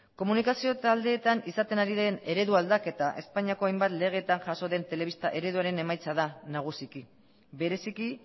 komunikazio taldeetan izaten ari den eredu aldaketa espainiako hainbat legeetan jaso den telebista ereduaren emaitza da nagusiki bereziki